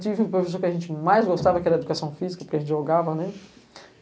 Tive o professor que a gente mais gostava, que era a educação física, porque a gente jogava, né?